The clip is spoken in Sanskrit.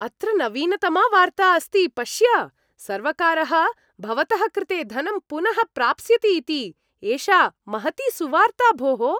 अत्र नवीनतमा वार्ता अस्ति पश्य, सर्वकारः भवतः कृते धनं पुनः प्राप्स्यति इति, एषा महती सुवार्ता भोः।